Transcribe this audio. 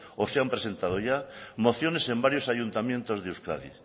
o se han presentado ya mociones en varios ayuntamientos de euskadi